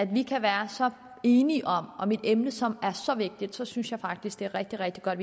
vi kan være så enige om om et emne som er så vigtigt synes jeg faktisk det er rigtig rigtig godt